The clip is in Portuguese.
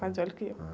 Mais velho que eu.h.